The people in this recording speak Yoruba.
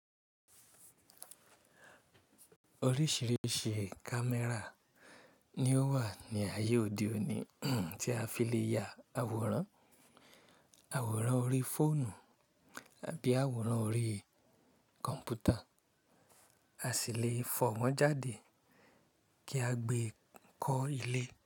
Oríṣìíríṣìí camera ni ó wà ní ayé òde òní tí a fi lè ya àwòrán, àwòrán orí fóònù àbí àwòrán orí kọ̀m̀pútà, a sì lè fọ̀ wọ́n jáde kí a gbe kọ́ ilé.